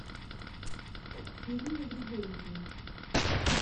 ирине григорьевне